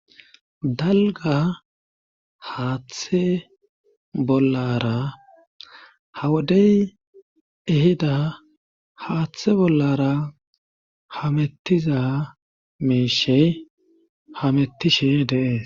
dalga haaththe bollara hawodey ehida haaththe bollara hamettiza meeshe hamettishe deees